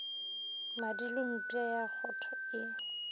madilo mpša ya kgotho e